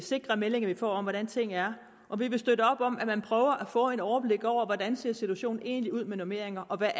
sikre meldinger vi får om hvordan tingene er og vi vil støtte op om at man prøver at få et overblik over hvordan situationen egentlig ser ud med normeringer og hvad